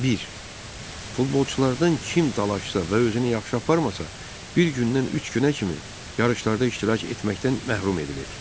Bir, futbolçulardan kim dalaşsa və özünü yaxşı aparmasa, bir gündən üç günə kimi yarışlarda iştirak etməkdən məhrum edilir.